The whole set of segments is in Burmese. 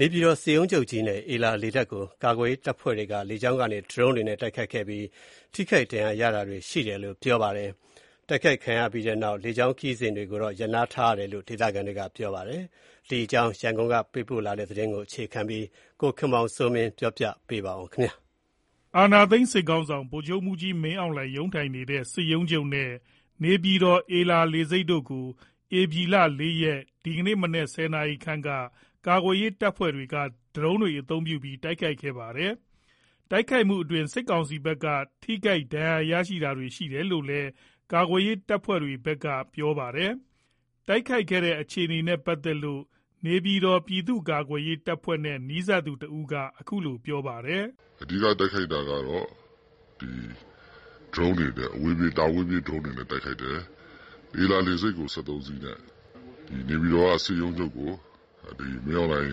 နေပြည်တော် စစ်ရုံးချုပ်နဲ့ အေလာ လေဆိပ်ကို ကာကွယ်ရေးတပ်ဖွဲ့တွေက လေကြောင်းကနေ ဒရုန်းတွေနဲ့ တိုက်ခိုက်ခဲ့ပြီး ထိခိုက် ဒဏ်ရာရတာတွေရှိတယ်လို့ ပြောပါတယ်။ တိုက်ခိုက်ခံရပြီးတဲ့နောက် လေကြောင်းခရီးစဉ်တွေကို ရပ်နားလိုက်တယ်လို့ ဒေသခံတွေက ပြောပါတယ်။ ဒီအကြောင်း ရန်ကုန်ကပေးပို့လာတဲ့ သတင်းကို အခြေခံပြီး ကိုခင်မောင်စိုးမင်းက ပြောပြပါမယ်။ အာဏာသိမ်းစစ်ခေါင်းဆောင် ဗိုလ်ချုပ်မှုးကြီးမင်းအောင်လှိုင် ရုံးထိုင်တဲ့ စစ်ရုံးချုပ်နဲ့ နေပြည်တော် အေလာ လေဆိပ်တို့ကို ဧပြီ ၄ ရက် မနက် ၁၀ နာရီခန့်ကကာကွယ်ရေး တပ်ဖွဲ့တွေက ဒရုန်းတွေ အသုံးပြုပြီး တိုက်ခိုက်ခဲ့တာပါ။ တိုက်ခိုက်မှုအတွင်း စစ်ကောင်စီဘက်က ထိခိုက်ဒဏ်ရာရတာတွေ ရှိတယ်လို့လည်း ကာကွယ်ရေး တပ်ဖွဲ့တွေဘက်က ပြောပါတယ်။ ဒီအခြေ အေနနဲ့ ပတ်သက်လို့ နေပြည်တော် ပြည်သူ့ကာကွယ်ရေး တပ်ဖွဲ့နဲ့ နီးစပ်သူက အခုလို ပြောပြပါတယ်။ “အဓိက တိုက်ခိုက်တာကတော့ ဒရုန်းတွေနဲ့ပေါ့နော်။ တာဝေးပြေးဒရုန်းတွေနဲ့ တိုက်ခိုက်တယ်။ ဧလာ လေဆိပ်ကို ၁၃ စီးနဲ့ နေပြည်တော် စစ်ရုံးချုပ်ကို မင်းအောင်လှိုင်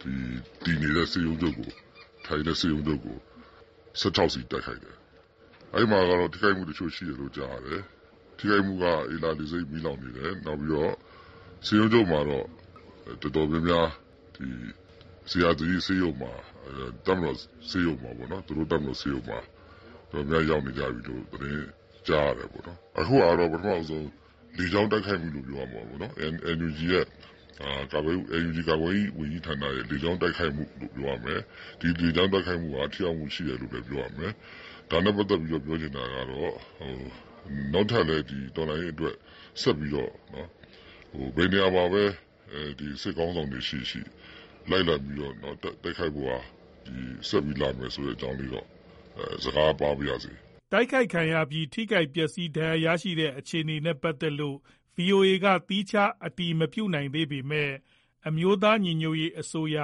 ထိုင်တဲ့ စစ်ရုံးချုပ်ကို ၁၆ စီးတိုက်ခိုက်တယ်။ အဲ့မှာတော့ ထိခိုက်မှု တချို့ရှိတယ်ကြားတယ်။ ထိခိုက်မှုက ဧလာ လေဆိပ်မီးလောင်နေတယ်။ နောက်ပြီးတော့ စစ်ရုံးချုပ်မှာတော့ တော်တော်များများ ဇေယျာသီရိ တပ်မတော်ဆေးရုံမှာ သူတို့ဆေးရုံမှာ တော်တော်များများ ရောက်နေကြပြီလို့ သတင်းကြားရတယ်ပေါ့နော်။ အခုက ပထမဆုံး လေကြောင်းတိုက်ခိုက်မှုလို့ ပြောရမှာပေါ့နော်။ NUG ကာကွယ်ရေး ဝန်ကြီးဌာနရဲ့ လေကြောင်းတိုက်ခိုက်မှုလို့ ပြောရမယ်။ ဒီလေကြောင်း တိုက်ခိုက်မှုက ထိရောက်မှုရှိတယ်လို့လည်း ပြောရမယ်။ ဒါနဲ့ပတ်သက်ပြီးပြောချင်တာက နောက်ထပ်လည်း တော်လှန်ရေး ဆက်ပြီးတော့ ဘယ်နေရာမှာပဲ စစ်ခေါင်းဆောင်တွေရှိရှိ လိုက်လံပြီး တိုက်ခိုက်ဖို့ ဆက်ပြီး လာမယ်ဆိုတဲ့အကြောင်း သတင်းစကား ပါးချင်ပါတယ်။” တိုက်ခိုက်ခံရပြီး ထိခိုက် ပျက်စီး ဒဏ်ရာရတဲ့ အခြေအနေနဲ့ ပတ်သက်လို့ ဗွီအိုအေက သီးခြား အတည်မပြုနိုင်သေးပေမဲ့ အမျိုးသားညီညွတ်ရေးအစိုးရ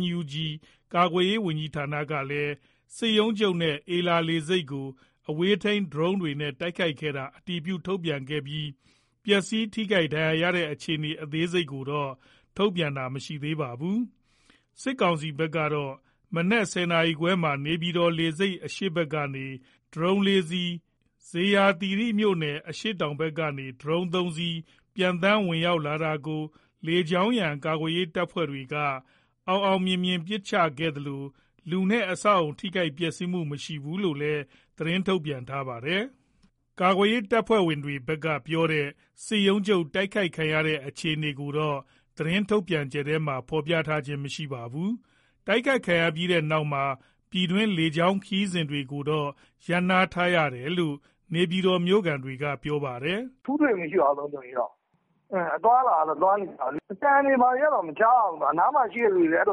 NUG ကာကွယ်ရေး ဝန်ကြီးဌာနက စစ်ရုံးချုပ်နဲ့ အေလာလေဆိပ်ကို အဝေးထိန်း ဒရုန်းတွေနဲ့ တိုက်ခိုက်ခဲ့တာကို အတည်ပြုထုတ်ပြန်ခဲ့ပြီး ပျက်စီး ထိခိုက်ဒဏ်ရာရတဲ့ အခြေအနေ အသေးစိတ်ကိုတော့ ထုတ်ပြန်ထားတာ မရှိပါဘူး။ စစ်ကောင်စီဘက်ကတော့ မနက် ၁၀ နာရီခွဲမှာ နေပြည်တော်လေဆိပ် အရှေ့ဘက်ကနေ ဒရုန်း ၄ စီး၊ ဇေယျာသီရိမြို့နယ် အရှေ့တောင်ဘက်ကနေ ဒရုန်း ၃ စီး ပျံသန်းဝင်ရောက်လာတာကို လေကြောင်းရန် ကာကွယ်ရေး တပ်ဖွဲ့တွေက အောင်မြင်စွာ ပစ်ချနိုင်ခဲ့သလို လူနဲ့ အဆောက်အဦ ထိခိုက်ပျက်စီးမှုမရှိဘူးလို့ သတင်းထုတ်ပြန်ထားပါတယ်။ ကာကွယ်ရေးတပ်ဖွဲ့တွေဘက်က ပြောတဲ့ စစ်ရုံးချုပ် တိုက်ခိုက်ခံရတဲ့အခြေအနေကိုတော့ သတင်းထုတ်ပြန်ချက်ထဲမှာ ဖော်ပြထားခြင်း မရှိပါဘူး။ တိုက်ခိုက်ခံရပြီးတဲ့နောက်မှာ ပြည်တွင်းလေကြောင်းခရီးစဉ်တွေကို ရပ်နားလိုက်တယ်လို့ နေပြည်တော်မြို့ခံတွေက ပြောပါတယ်။ “ထူးထွေတော့မရှိပါဘူး လုံခြုံရေးက။ သွားလာနေကြတာပါပဲ။ အသံတွေဘာတွေတော့ မကြားရဘူး။ အနားမှာ ရှိတဲ့သူတွေကလည်း အ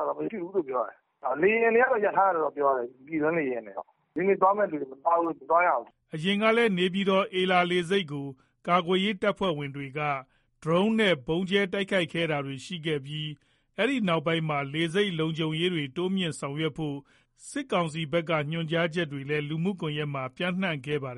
သံတွေ ဘာတွေမကြားဘူးပြောတယ်။ လေယာဉ်တွေကတော့ ရပ်ထားရတယ်ပြောတယ်။ ပြည်တွင်းလေယာဉ်တွေ ဒီနေ့သွားမယ့်လူတွေ မသွားရဘူး” အရင်ကလည်း နေပြည်တော် အေလာလေဆိပ်ကို ကာကွယ်ရေး တပ်ဖွဲ့တွေက ဒရုန်းနဲ့ ဗုံးကြဲတိုက်ခိုက်တာတွေ ရှိခဲ့ပြီး အဲ့ဒီနောက်ပိုင်းမှာ လေဆိပ်လုံခြုံရေးတွေ တိုးမြှင့်ဆောင်ရွက်ဖို့ စစ်ကောင်စီဘက်က ဆောင်ရွက်ဖို့ ညွှန်ကြားချက်လည်း လူမှုကွန်ရက်မှာ ပျံ့နှံ့ခဲ့ပါသေ